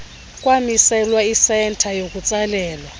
kwamiselwa isenta yokutsalela